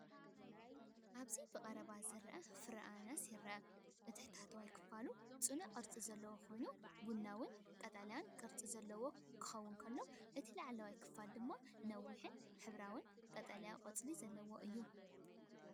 ኣብዚብቐረባ ዝርአ ፍረ ኣናናስ ይርአ። እቲ ታሕተዋይ ክፋል ጽኑዕ ቅርጺ ዘለዎ ኮይኑ ቡናውን ቀጠልያን ቅርጺ ዘለዎ ክኸውን ከሎ፡ እቲ ላዕለዋይ ክፋል ድማ ነዊሕን ሕብራዊን ቀጠልያ ቆጽሊ ዘለዎ እዩ።